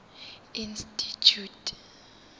institjhute